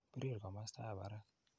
Pirir komastap parak .